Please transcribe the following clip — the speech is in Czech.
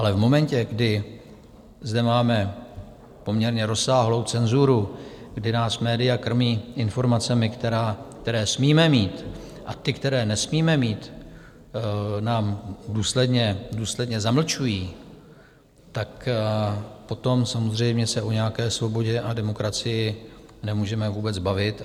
Ale v momentě, kdy zde máme poměrně rozsáhlou cenzuru, kdy nás média krmí informacemi, které smíme mít, a ty které nesmíme mít nám důsledně zamlčují, tak potom samozřejmě se o nějaké svobodě a demokracii nemůžeme vůbec bavit.